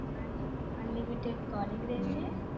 unlimited calling રેસે